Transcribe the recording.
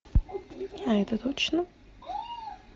а это точно